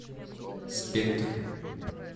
спектр